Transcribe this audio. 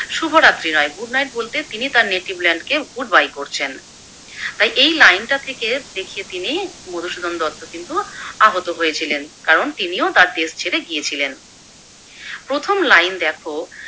শুভ রাত্রি নয় Good night বলতে তিনি তার Native land কে Good bye করছেন। তাই এই লাইনটা থেকে দেখিয়ে তিনি মধুসূদন দত্ত কিন্তু আহত হয়েছিলেন, কারণ তিনিও তার দেশ ছেড়ে গিয়েছিলেন। প্রথম লাইন দেখো